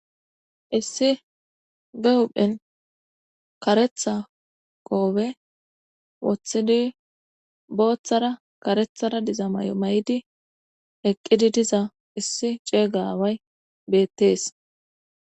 issi be hudphen karetha qoobe woththidi booththara karethara diza may7o may7di eqqidi diza issi ceega aaway beettees